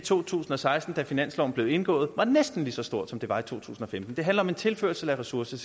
i to tusind og seksten da finansloven blev indgået var næsten lige så stort som det var i to tusind og femten det handler om en tilførsel af ressourcer